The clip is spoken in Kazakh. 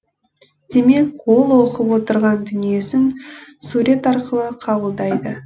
демек ол оқып отырған дүниесін сурет арқылы қабылдайды